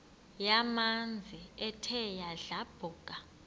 yamanzi ethe yadlabhuka